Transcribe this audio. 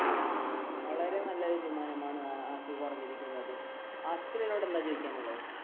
വളരെ നല്ലൊരു തീരുമാനമാണ് ഹാസിഫ് പറഞ്ഞിരിക്കുന്നത് ഹാസിഫിൻ എന്നോട് എന്താണ് ചോദിക്കാനുള്ളത്?